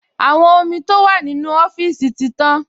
Àwọn omi tó wà nínú ọ́fíìsì ti tán